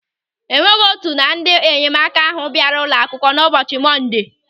O nweghị otu na ndị enyemaka ahụ bịara ụlọ akwụkwọ n'ụbọchị Mọndee.